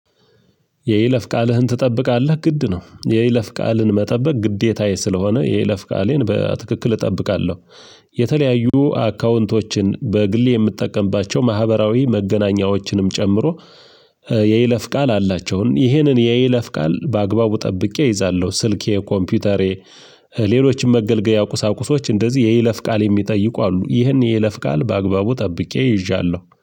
የይለፍ ቃልህን ትጠብቃለህ? ግድ ነው የይለፍ ቃልን መጠበቅ ግዴታዬ ስለሆነ የይለፍ ቃሌን በትክክል እጠብቃለሁ። የተለያዩ አካውንቶችን በግሌ የምጠቀምባቸው ማህበራዊ መገናኛዎችንም ጨምሮ የይለፍ ቃል አላቸውን። ይህንን የይለፍ ቃል በአግባቡ ጠብቄ እይዛለሁ ስልኬ፣ ኮምፒውተሬ ሌሎችም መገልገያ ቁሳቁሶች እንደዚህ የይለፍ ቃል የሚጠይቁ አሉ ይህን የይለፍ ቃል በአግባቡ ጠብቄ ይዣለሁ።